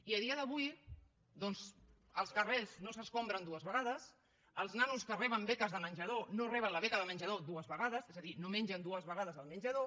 i a dia d’avui doncs els carrers no s’escombren dues vegades els nanos que reben beques de menjador no reben la beca de menjador dues vegades és a dir no mengen dues vegades al menjador